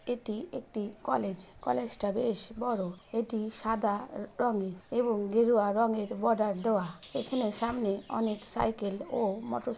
এটি একটি কলেজ । কলেজটা বেশ বড়। এটি সাদা রঙের এবং গেরুয়া রঙের বর্ডার দেওয়া। এখানে সামনে অনেক সাইকেল ও মটর --